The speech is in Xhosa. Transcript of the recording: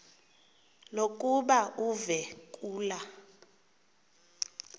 lokuba uve kulaa